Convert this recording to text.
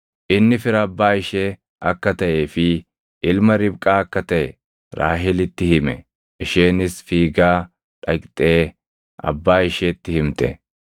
Inni fira abbaa ishee akka taʼee fi ilma Ribqaa akka taʼe Raahelitti hime; isheenis fiigaa dhaqxee abbaa isheetti himte.